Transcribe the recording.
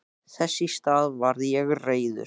Þess í stað varð ég reiður.